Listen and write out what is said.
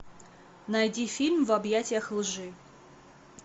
найди фильм в объятиях лжи